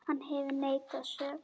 Hann hefur neitað sök.